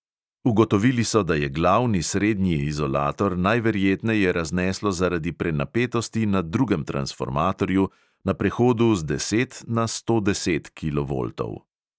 Ugotovili so, da je glavni srednji izolator najverjetneje razneslo zaradi prenapetosti na drugem transformatorju na prehodu z deset na sto deset kilovoltov.